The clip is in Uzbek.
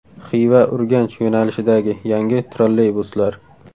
Xiva-Urganch yo‘nalishidagi yangi trolleybuslar.